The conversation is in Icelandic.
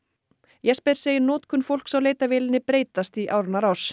Jesper segir notkun fólks á leitarvélinni breytast í áranna rás